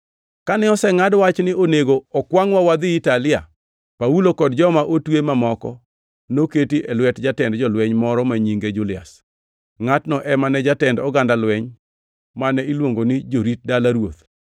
Kane osengʼad wach ni onego okwangʼwa wadhi Italia, Paulo kod joma otwe mamoko noketi e lwet jatend jolweny moro ma nyinge Julias. Ngʼatno ema ne jatend oganda lweny mane iluongo ni Jorit Dala Ruoth.